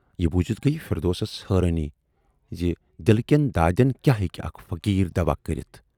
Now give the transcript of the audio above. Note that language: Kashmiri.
یہِ بوٗزِتھ گٔیہِ فِردوسس حٲرانی زِ دِلہٕ کٮ۪ن دادٮ۪ن کیاہ ہیکہِ اکھ فقیٖر دوا کٔرِتھ۔